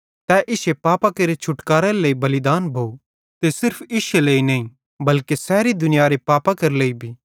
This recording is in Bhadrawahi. तै इश्शे पापां केरो छुटकारेरे लेइ बलिदान भोव ते सिर्फ इश्शे लेइ नईं बल्के सैरी दुनियारे पापां केरे लेइ भी